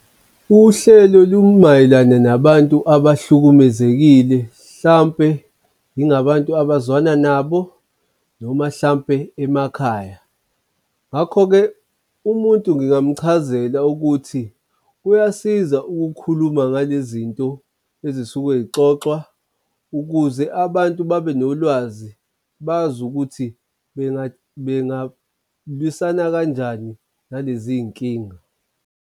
Uhlelo lumayelana nabantu abahlukumezekile. Hlawumpe ingabantu abazwana nabo noma hlampe emakhaya. Ngakho-ke umuntu ngingamchazela ukuthi kuyasiza ukukhuluma ngale zinto ezisuke y'xoxwa ukuze abantu babe nolwazi bazi ukuthi bengalwisana kanjani nalezi nkinga.